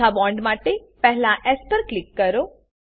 ચોથા બોન્ડ માટેપહેલા એસ પર ક્લિક કરો